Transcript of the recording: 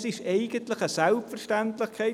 Das ist eigentlich eine Selbstverständlichkeit.